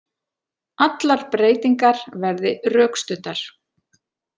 Allar breytingar verði rökstuddar